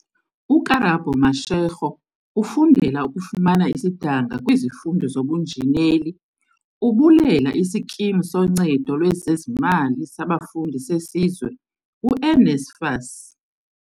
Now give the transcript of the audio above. UKarabo Mashego ufundela ukufumana isidanga kwizifundo zobunjineli, ubulela iSkimu soNcedo lwezeZimali saBafundi seSizwe, u-NSFAS.